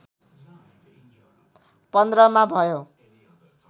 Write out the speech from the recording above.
१५ मा भयो